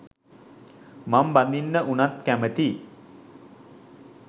මං බඳින්න උනත් කැමතියි